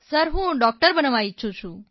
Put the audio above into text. હું ડોકટર બનવા ઇચ્છું છું